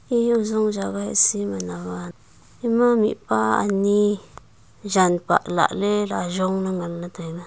eya ajong jaga heh si man awan ema mihpa jan pah lahle la ajong la ngan le taiga.